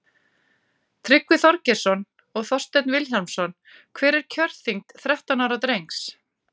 tryggvi þorgeirsson og þorsteinn vilhjálmsson hver er kjörþyngd þrettán ára drengs